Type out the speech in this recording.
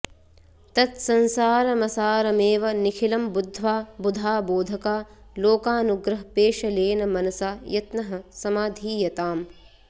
तत्संसारमसारमेव निखिलं बुद्ध्वा बुधा बोधका लोकानुग्रहपेशलेन मनसा यत्नः समाधीयताम्